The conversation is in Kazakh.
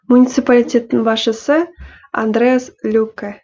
муниципалитеттің басшысы андреас люкке